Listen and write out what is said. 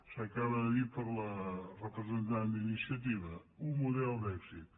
s’acaba de dir per la representant d’iniciativa un model d’èxit